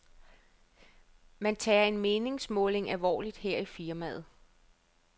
Man tager en meningsmåling alvorligt her i firmaet.